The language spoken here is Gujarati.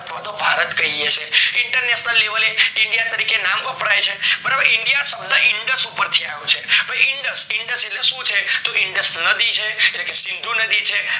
અથવાતો ભારત કહીએ છીએ, international-level એ india તરીકે નામ વપરાય છે india શબ્દ indus પરથી આવશે indus એટલે શું છે તો indus નદી છે એટલે સિંધ નદી છે.